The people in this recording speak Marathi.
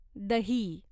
दही